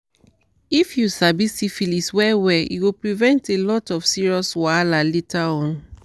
if u sabi syphilis well well e go prevent a lot of serious wahala later on